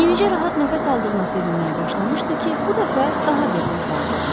Yenicə rahat nəfəs aldığına sevinməyə başlamışdı ki, bu dəfə daha bir dərd aldı onu.